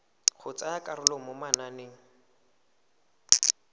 go tsaya karolo mo mananeng